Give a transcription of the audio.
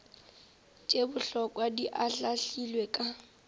tše bohlokwa di ahlaahlilwe ka